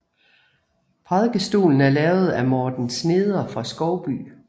Prædikestolen er lavet af Morten Sneder fra Skovby